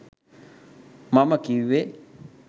මම කිව්වේ